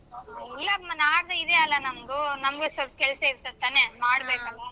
ಇಲ್ಲಮ್ಮ ನಾಡ್ದು ಇದೆ ಅಲ್ಲ ನಮ್ದು ನಮ್ಗು ಸೊಲ್ಪ್ ಕೆಲ್ಸ ಇರ್ತತ್ ತಾನೇ ಮಾಡ್ಬೇಕಲ್ಲ.